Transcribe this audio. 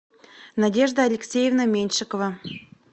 надежда алексеевна меньшикова